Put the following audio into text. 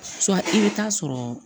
i bɛ taa sɔrɔ